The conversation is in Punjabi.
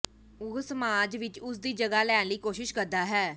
ਉਹ ਸਮਾਜ ਵਿਚ ਉਸ ਦੀ ਜਗ੍ਹਾ ਲੈਣ ਲਈ ਕੋਸ਼ਿਸ਼ ਕਰਦਾ ਹੈ